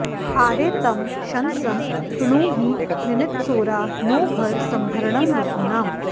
आरे तं शंसं कृणुहि निनित्सोरा नो भर सम्भरणं वसूनाम्